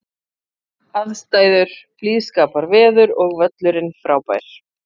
Aðstæður: Blíðskaparveður og völlurinn frábær.